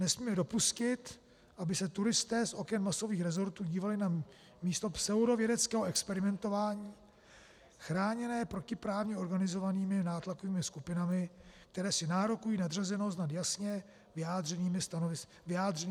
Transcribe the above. Nesmíme dopustit, aby se turisté z oken masových rezortů dívali na místo pseudovědeckého experimentování, chráněné protiprávně organizovanými nátlakovými skupinami, které si nárokují nadřazenost nad jasně vyjádřeným stanoviskem obyvatel.